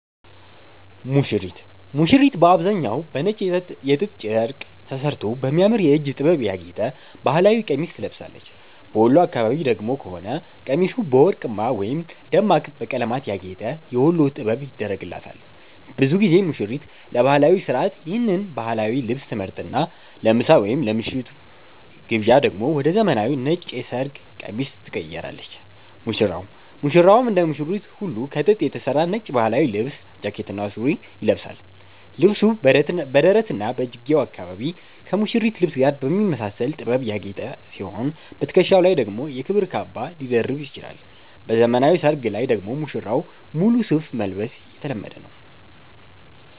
ሙሽሪት፦ ሙሽሪት በአብዛኛው በነጭ የጥጥ ጨርቅ ተሠርቶ በሚያምር የእጅ ጥበብ ያጌጠ ባህላዊ ቀሚስ ትለብሳለች። በወሎ አካባቢ ከሆነ ደግሞ ቀሚሱ በወርቅማ ወይም ደማቅ በቀለማት ያጌጠ "የወሎ ጥበብ" ይደረግላታል። ብዙ ጊዜ ሙሽሪት ለባህላዊው ሥርዓት ይህን ባህላዊ ልብስ ትመርጥና፣ ለምሳ ወይም ለምሽቱ ግብዣ ደግሞ ወደ ዘመናዊው ነጭ የሰርግ ቀሚስ ትቀይራለች። ሙሽራው፦ ሙሽራውም እንደ ሙሽሪት ሁሉ ከጥጥ የተሠራ ነጭ ባህላዊ ልብስ (ጃኬትና ሱሪ) ይለብሳል። ልብሱ በደረትና በእጅጌው አካባቢ ከሙሽሪት ልብስ ጋር በሚመሳሰል ጥበብ ያጌጠ ሲሆን፣ በትከሻው ላይ ደግሞ የክብር ካባ ሊደርብ ይችላል። በዘመናዊ ሰርግ ላይ ደግሞ ሙሽራው ሙሉ ሱፍ መልበስ የተለመደ ነው።